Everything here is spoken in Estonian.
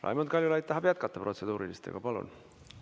Raimond Kaljulaid tahab jätkata protseduuriliste küsimustega, palun!